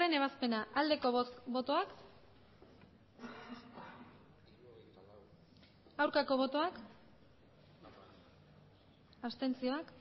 ebazpena aldeko botoak aurkako botoak abstentzioak